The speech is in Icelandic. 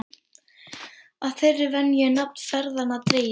Af þeirri venju er nafn ferðanna dregið.